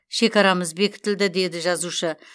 шекарамыз бекітілді деді жазушы